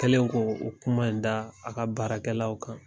Kɛlen ko o kuma in da a ka baarakɛlaw kan.